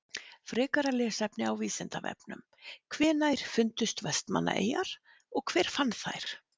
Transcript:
Frekara lesefni á Vísindavefnum: Hvenær fundust Vestmannaeyjar og hver fann þær?